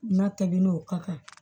N'a tɛmɛn'o kan